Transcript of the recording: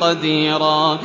قَدِيرًا